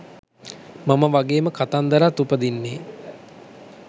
මං වගේම කතන්දරත් උපදින්නේ